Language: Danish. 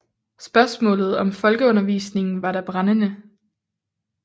Spørgsmålet om folkeundervisningen var da brændende